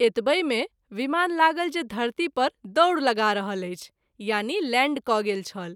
एतबहि मे विमान लागल जे धरती पर दौड़ लगा रहल अछि यानि लैंड क’ गेल छल।